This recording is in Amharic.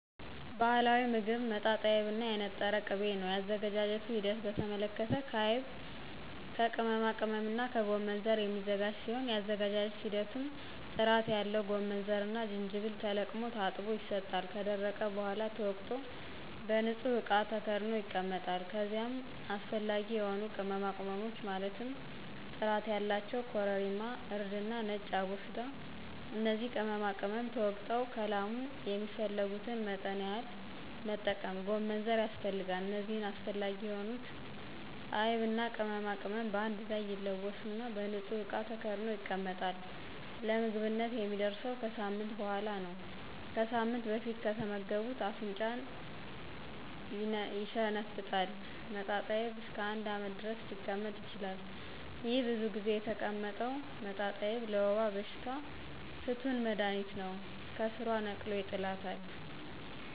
ባህላዊ ሞግብ መጣጣይብ እና የነጠረ ቅቤ ነው የአዘገጃጀቱ ሂደት በተመለከተ ከአይብ ከቅመማቅመምና ከጎመንዘር የሚዘጋጅ ሲሆን የአዘገጃጀት ሂደቱም ጥራት ያለው ጎመንዘርና ጅጅብል ተለቅሞ ታጥቦ ይሰጣል ከደረቀ በሗላ ተወቅጦ በንጹህ እቃ ተከድኖ ይቀመጣል ከዚይም አሰፈላጊ የሆኑ ቅመማቅመሞች ማለትም ጥራት ያላቸው ኮረሪማ :እርድና ነጭ አቦስዳ እነዚህ ቅመማቅመም ተወግጠው ከላሙ የሚፈልጉትን መጠን ያክል መጠቀም ጎመንዘር ያስፈልጋል እነዚህ አስፈላጊ የሆኑትን አይብና ቅመማቅመም በአንድ ላይ ይለወሱና በንጹህ እቃ ተከድኖ ይቀመጣል ለምግብነት የሚደርሰው ከሳምንት በሗላ ነው ከሳምንት በፊት ከተመገቡት አፍንጫን ይሸነፍጣል መጣጣይብ እስከ አንድ አመት ድረስ ሊቀመጥ ይችላል። ይሄ ብዙ ጊዜ የተቀመጠው መጣጣይብ ለወባ በሽታ ፍቱን መድሀኒት ነው ከስሯ ነቅሎ ይጥላታል።